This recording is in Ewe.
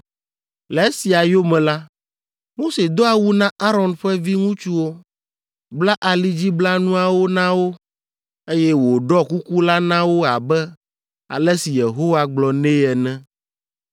Le esia yome la, Mose do awu na Aron ƒe viŋutsuwo, bla alidziblanuawo na wo, eye wòɖɔ kuku la na wo abe ale si Yehowa gblɔ nɛ ene.